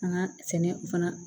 An ka sɛnɛ fana